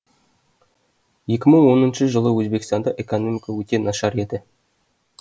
екі мың оныншы жылы өзбекстанда экономика өте нашар еді